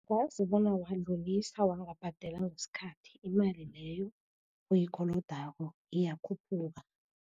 Yazi bona wadlulisa, wangabhadela ngesikhathi, imali leyo oyikolodako iyakhuphuka.